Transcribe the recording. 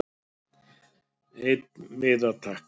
Einn miða takk